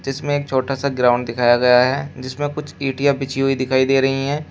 जिसमें एक छोटा सा ग्राउंड दिखाया गया है जिसमें कुछ इंटिया बिछी हुई दिखाई दे रही हैं।